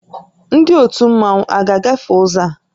Ndị ótù Mmanwu a ga-agafe ụzọ a?